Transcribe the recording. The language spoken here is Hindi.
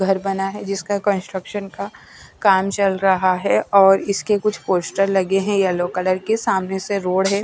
घर बना है जिसका कंस्ट्रक्शन का काम चल रहा है और इसके कुछ पोस्टर लगे हैं येलो कलर के सामने से रोड है।